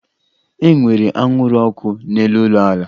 E nwere anwụrụ ọkụ n'elu ụlọala